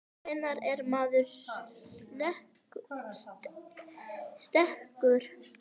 Hvenær er maður sekur?